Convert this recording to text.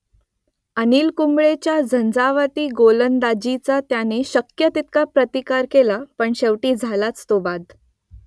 अनिल कुंबळेच्या झंझावाती गोलंदाजीचा त्याने शक्य तितका प्रतिकार केला पण शेवटी झालाच तो बाद